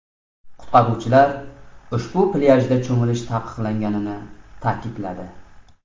Qutqaruvchilar ushbu plyajda cho‘milish taqiqlanganini ta’kidladi.